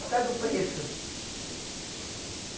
Por causa do preço.